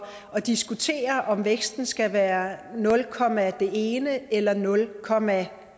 at diskutere om væksten skal være nul komma det ene eller nul komma